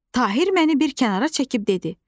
Tahib məni bir kənara çəkib dedi.